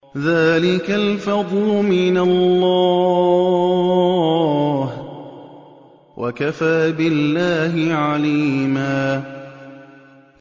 ذَٰلِكَ الْفَضْلُ مِنَ اللَّهِ ۚ وَكَفَىٰ بِاللَّهِ عَلِيمًا